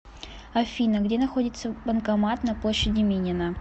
афина где находится банкомат на площади минина